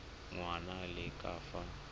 ngwana a le ka fa